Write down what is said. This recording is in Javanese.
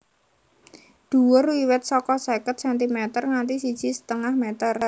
Dhuwur wiwit saka seket sentimer nganti siji setengah meter